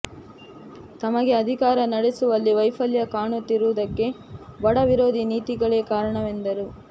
ತಮಗೆ ಅಧಿಕಾರ ನಡೆಸುವಲ್ಲಿ ವೈಫಲ್ಯ ಕಾಣುತ್ತಿರುವದಕ್ಕೆ ಬಡ ವಿರೋಧಿ ನೀತಿಗಳೇ ಕಾರಣವೆಂದರು